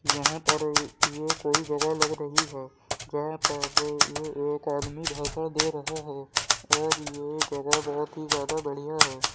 यहाँ पर ये कोई जगह लग रही है जहा पर ये एक आदमी भाषण दे रहा है और ये जगह बहुत ही ज्यादा बढ़िया है।